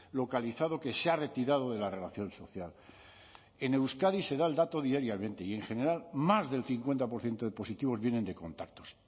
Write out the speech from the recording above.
localizado que se ha retirado de la relación social en euskadi se da el dato diariamente y en general más del cincuenta por ciento de positivos vienen de contactos